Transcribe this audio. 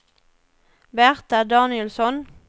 Berta Danielsson